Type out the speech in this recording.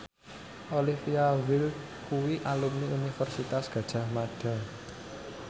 Olivia Wilde kuwi alumni Universitas Gadjah Mada